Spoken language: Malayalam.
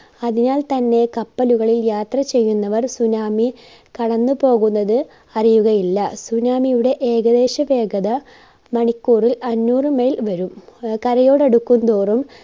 അതിനാൽ തന്നെ കപ്പലുകളിൽ യാത്ര ചെയ്യുന്നവർ tsunami കടന്നുപോകുന്നത് അറിയുകയില്ല. tsunami യുടെ ഏകദേശ വേഗത മണിക്കൂറിൽ അഞ്ഞൂറിന്മേൽ വരും. ആഹ് കരയോടടുക്കുംതോറും